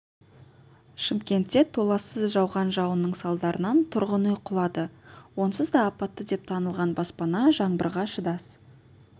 шымкентте толассыз жауған жауынның салдарынан тұрғын үй құлады онсыз да апатты деп танылған баспана жаңбырға шыдас